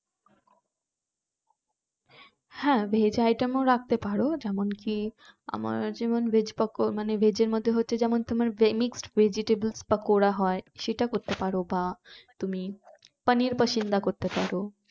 হ্যাঁ veg item ও রাখতে পারো যেমন কি আমার যেমন veg veg এর মধ্যে হচ্ছে যেমন তোমার mixed vegetable পাকোড়া হয় ওটা করতে পারো বা তুমি পানির পাসিন্দা করতে পারো